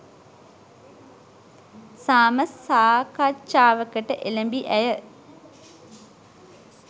සාම සාකච්ඡාවකට එළැඹි ඇය